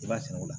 I b'a sɛnɛ o la